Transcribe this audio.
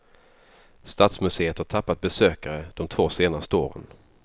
Stadsmuseet har tappat besökare de två senaste åren.